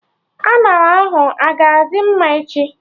Añara ahụ a-ga adị mma echi?